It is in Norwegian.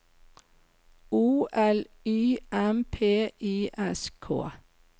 O L Y M P I S K